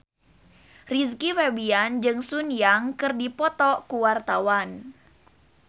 Rizky Febian jeung Sun Yang keur dipoto ku wartawan